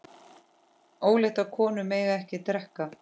Óléttar konur mega ekki drekka.